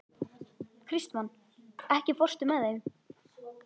Kristmann, ekki fórstu með þeim?